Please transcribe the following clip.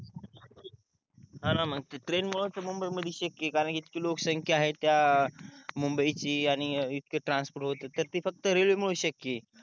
ह ना मग ते ट्रेन मुळेच मुंबई मध्ये शक्य आहे कारण कि इतकी लोकसंख्या आहे त्या मुंबई ची आणि इतके ट्रान्स्पोर्ट होते तर ते फक्त रेलवे मुळेच शक्य आहे